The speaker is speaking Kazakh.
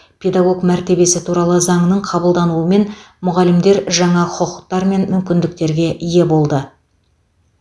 педагог мәртебесі туралы заңның қабылдануымен мұғалімдер жаңа құқықтар мен мүмкіндіктерге ие болды